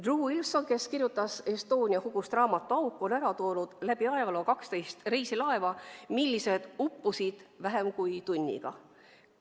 Drew Wilson, kes kirjutas Estonia hukust raamatu, on ära toonud ajaloost 12 reisilaeva, mis uppusid vähem kui tunniga.